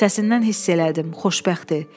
Səsindən hiss elədim, xoşbəxtdir.